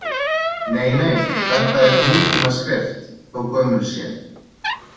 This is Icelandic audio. Nei, nei, þetta er nútímaskrift, þó gömul sé